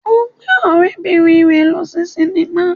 Ó gbé ọ̀rẹ́-bìnrin rẹ̀ lọ sí sínímà